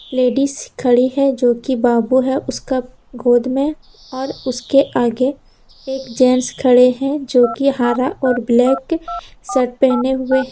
Ladies खड़ी है जोकि बाबू है। उसका गोद में और उसके आगे एक जेंट्स खड़े हैं जोकि हरा और ब्लैक शर्ट पहने हुए हैं।